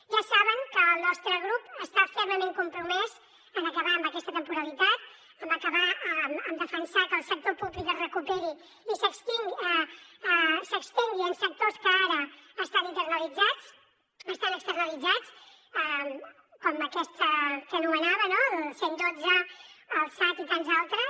ja saben que el nostre grup està fermament compromès amb acabar amb aquesta temporalitat amb defensar que el sector públic es recuperi i s’estengui en sectors que ara estan externalitzats com aquests que anomenava no el cent i dotze el sat i tants altres